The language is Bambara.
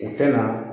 U tɛna